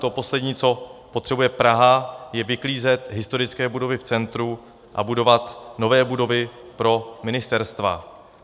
To poslední, co potřebuje Praha, je vyklízet historické budovy v centru a budovat nové budovy pro ministerstva.